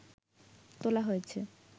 তোলা হয়েছে